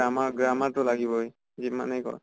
grammar grammar টো লাগিবই যিমানে কৰ